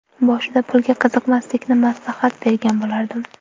Boshida pulga qiziqmaslikni maslahat bergan bo‘lardim.